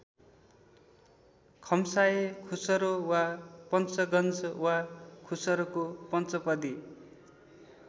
खम्साऐ खुसरो वा पंचगंज वा खुसरोको पंचपदी।